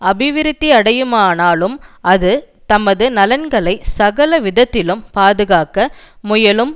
அபிவிருத்தியடையுமானாலும் அது தமது நலன்களை சகல விதத்திலும் பாதுகாக்க முயலும்